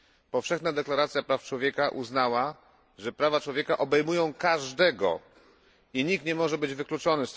Powszechna deklaracja praw człowieka uznała, że prawa człowieka obejmują każdego i nikt nie może być wykluczony.